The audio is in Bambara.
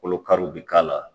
Kolo kariw bi k'a la